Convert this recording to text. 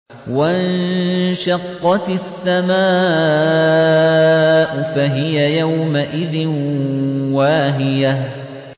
وَانشَقَّتِ السَّمَاءُ فَهِيَ يَوْمَئِذٍ وَاهِيَةٌ